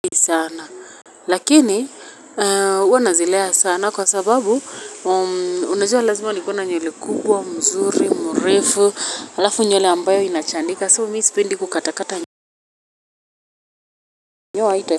Sana lakini huwa nazilea sana kwa sababu unajua lazima nikuwe na nywele kubwa mzuri mrefu alafu nyuele ambayo inachanika so miisipendi kukatakata.